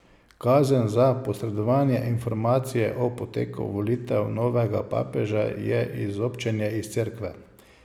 Kazen za posredovanje informacij o poteku volitev novega papeža je izobčenje iz Cerkve.